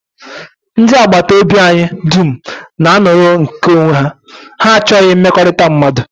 Ndị agbataobi anyị dum na-anọrọ nke onwe ha, ha achọghị mmekọrịta mmadụ